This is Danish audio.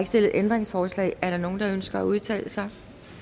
stillet ændringsforslag er der nogen der ønsker at udtale sig